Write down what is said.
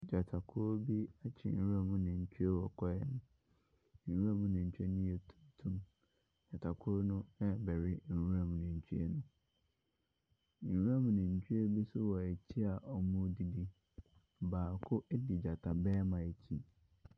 Gyatakuo bi akyere nwura mu nantwie ɛwɔ kwaeɛ mu, nwura mu nantwie no ɛyɛ tuntum. Gyatakuo no ɛrebɛwe nwura mu no. nwura mu nantwi bi nso ɛwɔ akyi a wɔredidi. Baako edi gyata barima akyi.